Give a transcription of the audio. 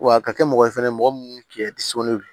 Wa a ka kɛ mɔgɔ fɛnɛ mɔgɔ munnu cɛ